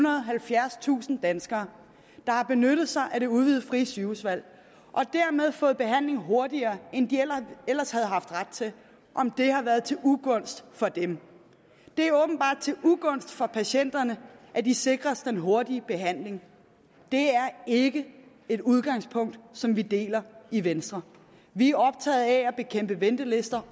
og halvfjerdstusind danskere der har benyttet sig af det udvidede frie sygehusvalg og dermed fået behandling hurtigere end de ellers havde haft ret til om det har været til ugunst for dem det er åbenbart til ugunst for patienterne at de sikres den hurtige behandling det er ikke et udgangspunkt som vi deler i venstre vi er optaget af at bekæmpe ventelister